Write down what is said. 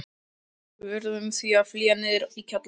Við urðum því að flýja niður í kjallarann.